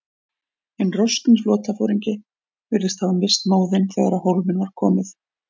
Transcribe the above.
Hinn roskni flotaforingi virðist hafa misst móðinn, þegar á hólminn var komið.